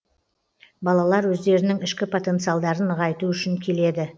балалар өздерінің ішкі потенциалдарын нығайту үшін келеді